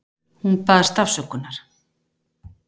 Hún baðst afsökunar.